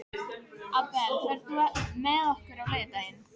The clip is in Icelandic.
Abel, ferð þú með okkur á laugardaginn?